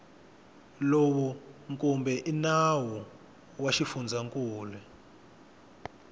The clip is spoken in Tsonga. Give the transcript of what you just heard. lowu kumbe nawu wa xifundzankulu